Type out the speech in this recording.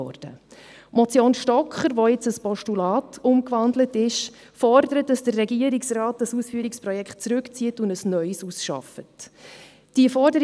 Die Motion Stocker, die nun in ein Postulat gewandelt ist, fordert, dass der Regierungsrat das Ausführungsprojekt zurückzieht und ein neues ausarbeitet.